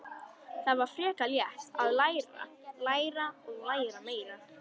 Það var frekar létt: að læra, læra og læra meira.